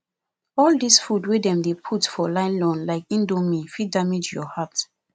all dis food wey dem dey put for nylon like indomie fit damage your heart